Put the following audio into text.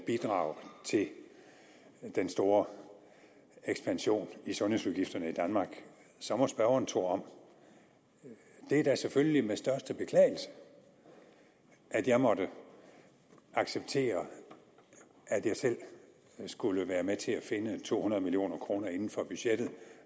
bidrag til den store ekspansion i sundhedsudgifterne i danmark så må spørgeren tro om det var da selvfølgelig med største beklagelse at jeg måtte acceptere at jeg selv skulle være med til at finde to hundrede million kroner inden for budgettet